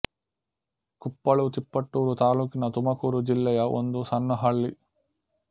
ಕುಪ್ಪಳು ತಿಪಟೂರು ತಾಲೂಕಿನ ತುಮಕೂರು ಜಿಲ್ಲೆಯ ಒಂದು ಸಣ್ಣ ಹಳ್ಳಿ